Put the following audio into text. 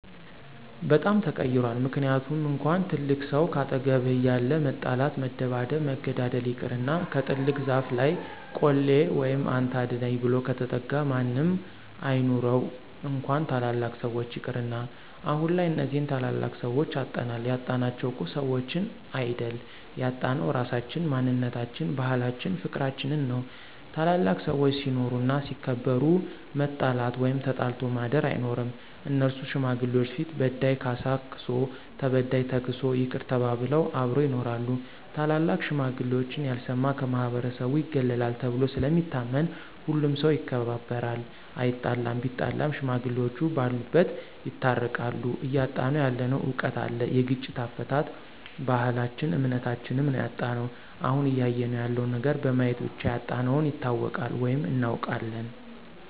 በጣም ተቀይሯል ምክንያቱም እንኳን ትልቅ ሰው ካጠገብህ እያለ መጣላት መደባደብ መገዳደል ይቅርና ከትልቅ ዛፍ ለይ ቆሌ ወይም አንተ አድነኝ ብሎ ከተጠጋ ማንም አይኑረው እንኳን ታላላቅ ሰዎች ይቅርና። አሁንላይ እነዚህን ታላላቅ ሰዎች አጠናል ያጣናቸው እኮ ሰዎችን አይድል ያጣነው ራሳችን፣ ማንነታችን፣ ባህላችን ፍቅርችንን ነው። ታላላቅ ሰዎች ሲኖሩ እና ሲከበሩ መጣላት ወይም ተጣልቶ ማድር አይኖርም እነሱ ሽማግሌዎች ፊት በዳይ ካሳ ክሶ ተበዳይ ተክሶ ይቅር ተባብለው አብረው ይኖራሉ። ታላላቅ ሽማግሌዎች ያልሰማ ከማህበረሰቡ ይገለላል ተብሎ ስለሚታመን ሁሉም ሠው ይከባበራል አይጣለም ቢጣላም ሽማግሌዎቹ በሉበት ይታረቃሉ። እያጣነው ያለነው እውቀት አለ የግጭት አፈታት፣ ባህልች እምነታችም ነው ያጣነው። አሁን እያየነው ያለው ነገር በማየት ብቻ ያጣነውን ይታወቃል ወይም እናውቃለን።